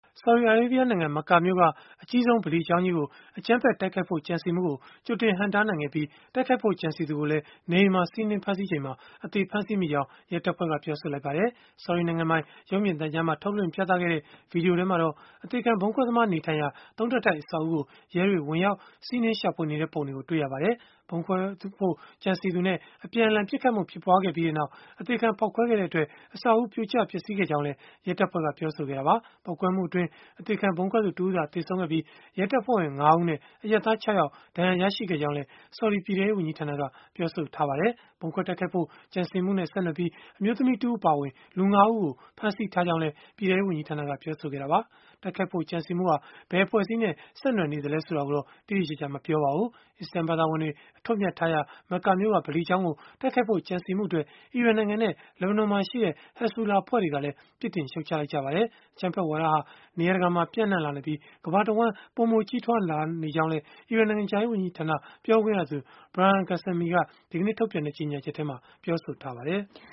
ဆော်ဒီအာရေဗီးယားနိုင်ငံ မက္ကာမြို့က အကြီးဆုံး ဗလီကျောင်းကြီးကို အကြမ်းဖက် တိုက်ခိုက်ဖို့ ကြံစည်မှုကို ကြိုတင်ဟန့်တားနိုင်ခဲ့ပြီး၊ တိုက်ခိုက်ဖို့ ကြံစည်သူကိုလည်း နေအိမ်မှာ စီးနင်းဖမ်းဆီးချိန်မှာ အသေဖမ်းဆီးမိကြောင်း ရဲတပ်ဖွဲ့က ပြောဆိုလိုက်ပါတယ်။ ဆော်ဒီနိုင်ငံပိုင် ရုပ်မြင်သံကြားမှာ ထုတ်လွှင့်ပြသခဲ့တဲ့ ဗွီဒီယိုထဲမှာတော့ အသေခံဗုံးခွဲသမား နေထိုင်ရာ ၃ ထပ်တိုက် အဆောက်အဦးကို ရဲတွေ ဝင်ရောက် စီးနင်းရှာဖွေနေတဲ့ပုံတွေကို တွေ့ရပါတယ်။ ဗုံးခွဲဖို့ ကြံစည်သူနဲ့ အပြန်အလှန်ပစ်ခတ်မှု ဖြစ်ပွားခဲ့ပြီးနောက်၊ အသေခံဖောက်ခွဲခဲ့တဲ့အတွက် အဆောက်အဦး ပြိုကျပျက်စီးခဲ့ကြောင်းလည်း ရဲတပ်ဖွဲ့က ပြောဆိုခဲ့တာပါ။ ပေါက်ကွဲမှုအတွင်း အသေခံဗုံးခွဲသူ တဦးသာ သေဆုံးခဲ့ပြီး၊ ရဲတပ်ဖွဲ့ဝင် ၅ ဦးနဲ့ အရပ်သား ၆ ယောက် ဒဏ်ရာရခဲ့ကြောင်းလည်း ဆော်ဒီ ပြည်ထဲရေးဝန်ကြီးဌာနက ပြောပါတယ်။ ဗုံးခွဲတိုက်ခိုက်ဖို့ ကြံစည်မှုနဲ့ ဆက်နွယ်ပြီး၊ အမျိုးသမီးတဦး အပါအဝင် လူ ၅ ဦးကို ဖမ်းဆီးထားကြောင်းလည်း ပြည်ထဲရေးဝန်ကြီးဌာနက ပြောဆိုခဲ့တာပါ။ တိုက်ခိုက်ဖို့ ကြံစည်မှုဟာ ဘယ်အဖွဲ့အစည်းနဲ့ ဆက်နွယ်နေသလဲ ဆိုတာကိုတော့ တိတိကျကျ မပြောပါဘူး။ အစ္စလာမ်ဘာသာဝင်တွေ အထွတ်အမြတ်ထားရာ မက္ကာမြို့က ဗလီကျောင်းကို တိုက်ခိုက်ဖို့ ကြံစည်မှုအတွက် အီရန်နိုင်ငံနဲ့ လက်ဘနွန်မှာရှိတဲ့ ဟက်ဇ်ဘူလာ အဖွဲ့တွေကလည်း ပြစ်တင်ရှုတ်ချခဲ့ကြပါတယ်။ အကြမ်းဖက်ဝါဒဟာ နေရာတကာမှာ ပြန့်နှံ့လာနေပြီး၊ ကမ္ဘာတဝန်း ပိုမိုကြီးထွား လာနေကြောင်းလည်း အီရန်နိုင်ငံခြားရေးဝန်ကြီးဌာန ပြောခွင့်ရသူ Bahram Ghasemi က ဒီကနေ့ ထုတ်ပြန်လိုက်တဲ့ ကြေညာချက်မှာ ပြောဆိုထားပါတယ်။